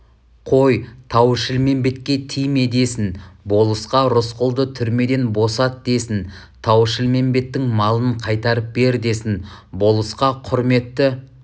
қой тау-шілмембетке тиме десін болысқа рысқұлды түрмеден босат десін тау-шілмембеттің малын қайтарып бер десін болысқа құрметті